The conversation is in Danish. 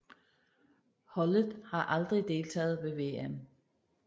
Holdet har aldrig deltaget ved VM